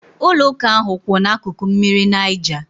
Ụlọ ụka ahụ kwu ná akụkụ mmiri Niger